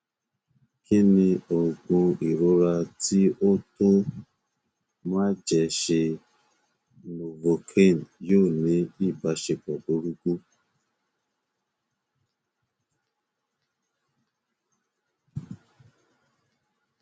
kí ni òògùn ìrora tí ó tọ máa jẹ ṣé novocain yóò ní ìbáṣepọ burúkú